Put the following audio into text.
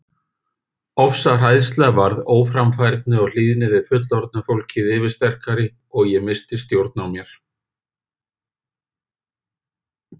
Ofsahræðsla varð óframfærni og hlýðni við fullorðna fólkið yfirsterkari og ég missti stjórn á mér.